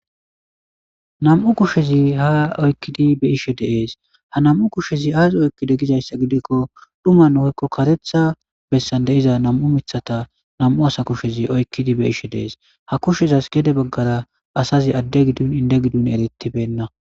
Nam'u kushezi ha oykkidi be ishe deees ha nam'u kushezi aasi oykkide gizayssa gidikko dhumanhoykko karetha bessan deiza nam'u mithata nam'u asa kushezi oykkidi be ishe deees ha kushezas gede baggara asazi adde giddun inde giddun eretibenna.